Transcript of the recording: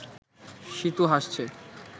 সীতু হাসছে